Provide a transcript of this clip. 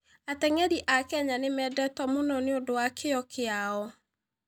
Ateng'eri a Kenya nĩ mendetwo mũno nĩ ũndũ wa kĩyo kĩao.